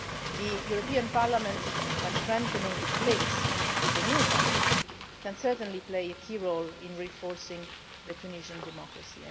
The European Parliament, by strengthening its links with the new parliament, can certainly play a key role in reinforcing Tunisian democracy.